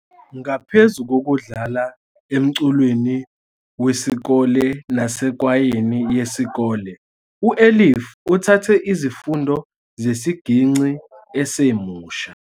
Ngaphezu kokudlala emculweni wesikole nasekwayeni yesikole, u-Elif uthathe izifundo zesigingci esemusha.